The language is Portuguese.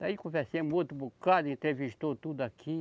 Daí, conversemos um outro bocado, entrevistou tudo aqui.